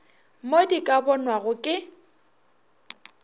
mo di ka bonwago ke